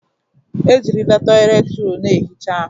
Ejirila toịletị rọlụ na-ehicha ahụ.